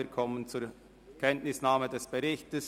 Wir kommen zur Kenntnisnahme des Berichts.